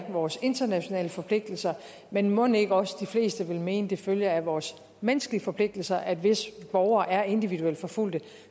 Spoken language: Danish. vores internationale forpligtelser men mon ikke også de fleste vil mene at det følger af vores menneskelige forpligtelser at hvis borgere er individuelt forfulgt